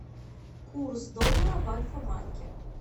курс доллара в альфа банке